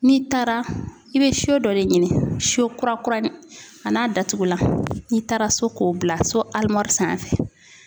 N'i taara i be so dɔ de ɲini , so kura kura a n'a datugulan n'i taara so k'o bila so alimɔri sanfɛ.